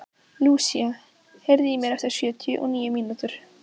Lúsía, heyrðu í mér eftir sjötíu og níu mínútur.